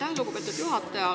Aitäh, lugupeetud juhataja!